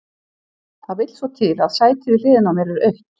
Það vill svo til að sætið við hliðina á mér er autt.